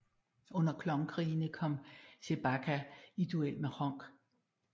Under Klon Krigene kom Chewbacca i duel med Hronk